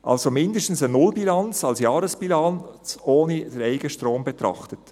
Es ist also mindestens eine Nullbilanz als Jahresbilanz, ohne den Eigenstrom zu betrachten.